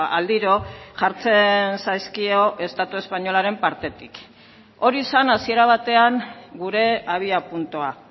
aldiro jartzen zaizkio estatu espainolaren partetik hori zen hasiera batean gure abiapuntua